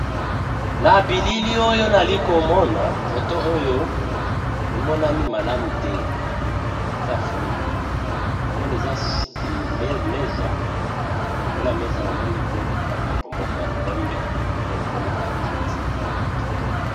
Na bilili oyo nalikomona foto oyo emonani malamu te eza flou namoni eza meza na likolo ya meza namoni biloko ba kopo moko ya pembe pe namoni bakiti ya kitoko.